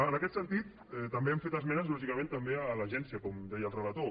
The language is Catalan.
en aquest sentit també hem fet esmenes lògicament també a l’agència com deia el relator